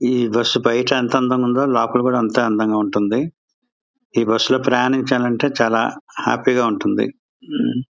ఈ బస్సు బయట ఎంత అందంగా ఉందొ లోపల అంటే అందంగా ఉంటుంది. ఈ బస్సు లో ప్రయాణించాలంటే చాలా హ్యాపీ గా ఉంటుంది.